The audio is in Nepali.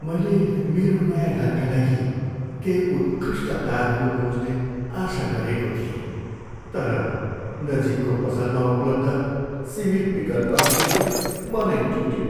मैले मेरो नयाँ घरका लागि केही उत्कृष्ट तारहरू खोज्ने आशा गरेको थिएँ, तर नजिकको पसलमा उपलब्ध सीमित विकल्पहरू देखेर मनै टुट्यो।